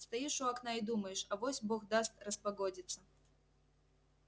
стоишь у окна и думаешь авось бог даст распогодится